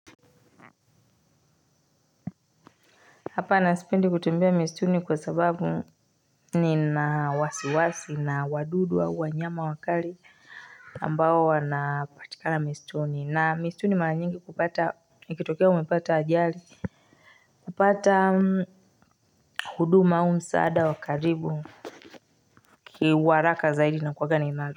Hapana sipendi kutembea mistuni kwa sababu nina wasiwasi na wadudu wa wanyama wakali ambao wanapatikana mistuni na mistuni mara nyingi kupata ikitokea umepata ajali kupata huduma au msaada wa karibu ni wa haraka zaidi.